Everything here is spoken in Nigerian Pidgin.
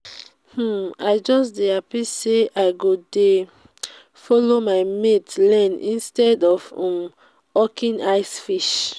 um i just dey happy say i go dey follow my mates learn instead um of hawking ice fish